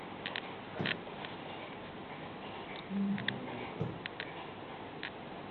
ильей